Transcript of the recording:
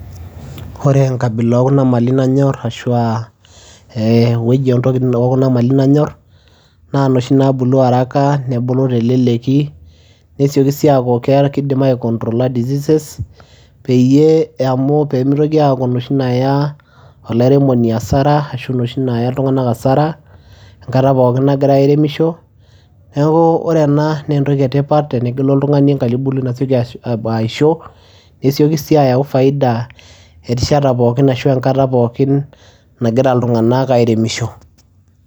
Ore enkabila oo kuna mali nanyor ashu aa ewueji entoki oo kuna mali nanyor naa inoshi naabulu haraka nebulu teleleki, nesioki sii aaku ke kiidim aicontrolla diseases peyie amu pee mtoki aaku inoshi naaya olairemoni hasara ashu inoshi naaya iltung'anak hasara enkata pookin nagira airemisho. Neeku ore ena nee entoki e tipat tenegelu oltung'ani enkaitubului nasioki aisho, nesioki sii ayau faida erishata pookin ashu enkata pookin nagira iltung'anak airemisho.